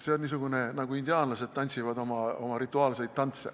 See on niisugune tants, nagu indiaanlased tantsivad.